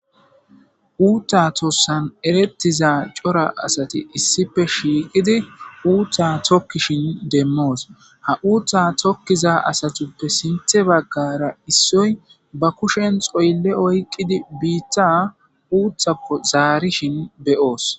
uutta tossan erettiza cora asati issife shiiqidi uutta tokkishin demmoos ha uutta tokkiza asatuppe sinthe baggara issoy ba kushen xoylle oyqqidi biitta uuthakko zaarishin beyoos